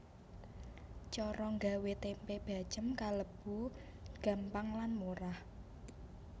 Cara gawé tempe bacém kalébu gampang lan murah